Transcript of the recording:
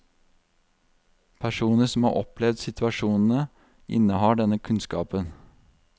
Personer som har opplevd situasjonene, innehar denne kunnskapen.